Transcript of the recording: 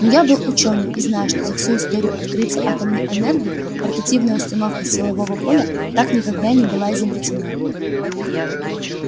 но я был учёным и знаю что за всю историю открытия атомной энергии портативная установка силового поля так никогда и не была изобретена